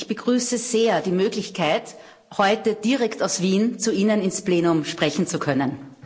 Ich begrüße sehr die Möglichkeit, heute direkt aus Wien zu Ihnen ins Plenum sprechen zu können.